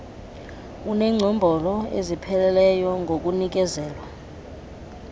enengcombolo ezipheleleyo ngokunikezelwa